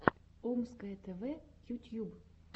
омское тв ютьюб